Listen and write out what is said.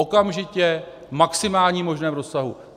Okamžitě, v maximálním možném rozsahu.